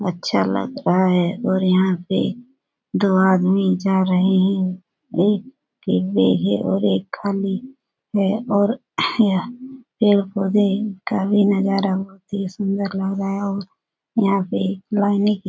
अच्छा लगता है और यहाँ पे दो आदमी जा रहे हैं। एक एक के बैग है और एक खाली है और यह पेड़-पौधे का भी नजारा बहुत ही सुंदर लग रहा है। यहाँ पे